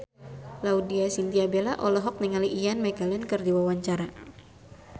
Laudya Chintya Bella olohok ningali Ian McKellen keur diwawancara